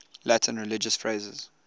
latin religious phrases